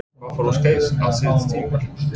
Hvað fór úrskeiðis á síðasta tímabili?